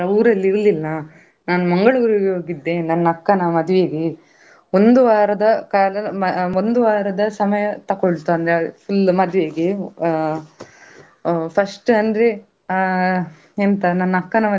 Hey Nisha ನಾನ್ ಮೊನ್ನೆ ಪ್ರಾಣಿ ಸಂಗ್ರಹಾಲಯಕ್ಕೆ ಹೋಗಿದ್ದೆಯಾ. ಎ ಆ ಹೋಗುವಾಗ್ಲೇ ನಂಗೆ ಆ ಒಳಗೆ ಹೋಗ್ಲಿಕ್ಕೆ ಆ ticket ಮಾಡ್ಲಿಕ್ಕೆ ಇತ್ತು. ಆಮೇಲೆ ನಾವು ಒಂದು ಹತ್ತು ಜನ ಇದ್ವಿ, ticket ಮಾಡಿ ಒಳಗೆ ಹೋದ್ವಿ ಒಳಗೆ ಹೋಗುವಾಗ.